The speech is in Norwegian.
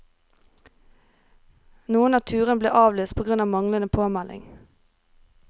Noen av turene ble avlyst på grunn av manglende påmelding.